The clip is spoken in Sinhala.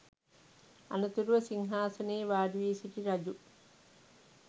අනතුරුව සිංහාසනයේ වාඩිවී සිටි රජු